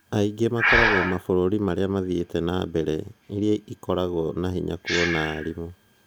Aingĩ makoragwa mabũrũri arĩa mathiĩte na mbere iria ikoragwo binya kũona arimũ